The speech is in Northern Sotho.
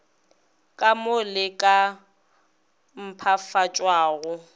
ka mo le ka mpshafatšwago